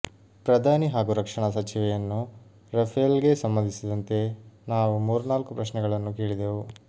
ಪ್ರಧಾನಿ ಹಾಗೂ ರಕ್ಷಣಾ ಸಚಿವೆಯನ್ನು ರಫೇಲ್ ಗೆ ಸಂಬಂಧಿಸಿದಂತೆ ನಾವು ಮೂರ್ನಾಲ್ಕು ಪ್ರಶ್ನೆಗಳನ್ನು ಕೇಳಿದೆವು